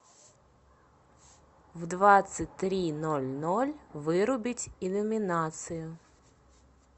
в двадцать три ноль ноль вырубить иллюминацию